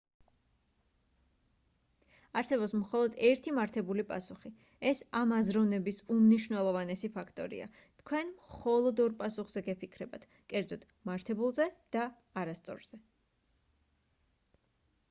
არსებობს მხოლოდ ერთი მართებული პასუხი ეს ამ აზროვნების უმნიშვნელოვანესი ფაქტორია თქვენ მხოლოდ ორ პასუხზე გეფიქრებათ კერძოდ მართებულზე და არასწორზე